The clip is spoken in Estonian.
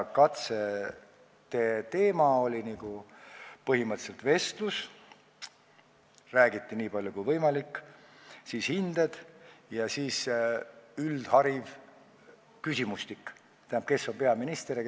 Katsed toimusid põhimõtteliselt vestlusena – räägiti nii palju kui võimalik –, siis hinded ja siis üldhariduslik küsimustik .